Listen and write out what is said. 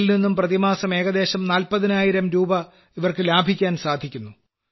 ഇതിൽനിന്നും പ്രതിമാസം ഏകദേശം 40000 രൂപ അവർക്ക് ലഭിക്കാൻ സാധിക്കുന്നു